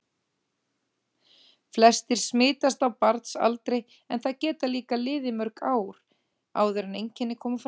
Flestir smitast á barnsaldri en það geta liðið mörg ár áður en einkenni koma fram.